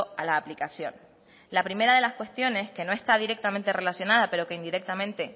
a la aplicación la primera de las cuestiones que no está directamente relacionada pero que indirectamente